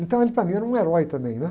Então ele, para mim, era um herói também, né?